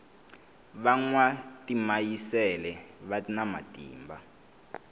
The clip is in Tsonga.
va nwa timayisele vana matimba